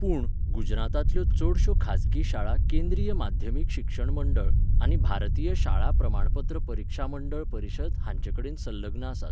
पूण, गुजरातांतल्यो चडश्यो खाजगी शाळा केंद्रीय माध्यमीक शिक्षण मंडळ आनी भारतीय शाळा प्रमाणपत्र परिक्षा मंडळ परिशद हांचेकडेन संलग्न आसात.